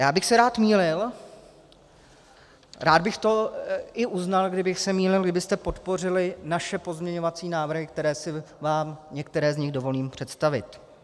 Já bych se rád mýlil, rád bych to i uznal, kdybych se mýlil, kdybyste podpořili naše pozměňovací návrh, které si vám některé z nich dovolím představit.